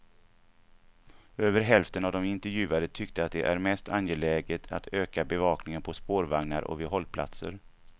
Över hälften av de intervjuade tyckte att det är mest angeläget att öka bevakningen på spårvagnar och vid hållplatser.